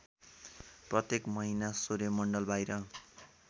प्रत्येक महिना सौर्यमण्डलबाहिर